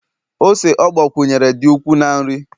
ose ọ gbakwunyere dị ukwuu na nri